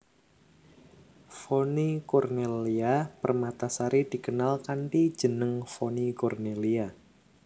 Vonny Cornellya Permatasari dikenal kanthi jeneng Vonny Cornelia